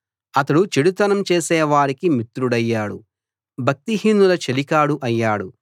అతడు చెడుతనం చేసే వారికి మిత్రుడయ్యాడు భక్తిహీనుల చెలికాడు అయ్యాడు